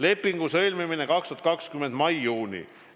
Lepingu sõlmimine on 2020. aasta mais-juunis.